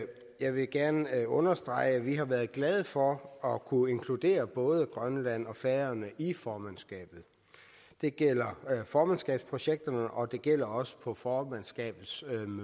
jeg vil gerne understrege at vi har været glade for at kunne inkludere både grønland og færøerne i formandskabet det gælder formandskabsprojekterne og det gælder også på formandskabets